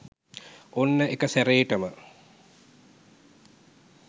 ඔන්න එකසැරේටම